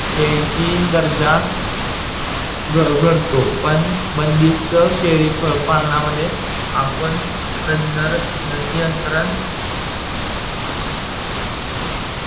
शेळीची दर्जा घडतो, पण बंदिस्त शेळी पालनामध्ये आपण प्रजनन नियंत्रण